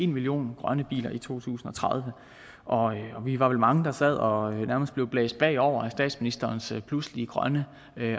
million grønne biler i to tusind og tredive vi var vel mange der sad og nærmest blev blæst bagover af statsministerens pludselige grønne